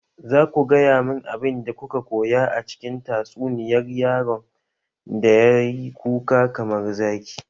Za ku gaya mani abin da kuka koya a cikin tatsuniyar yaron da ya yi kuka kamar zaki!